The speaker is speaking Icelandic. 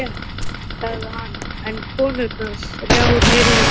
Afsakið, sagði hann, en konurnar þrjár heyrðu ekki til hans.